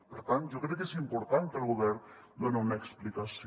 per tant jo crec que és important que el govern done una explicació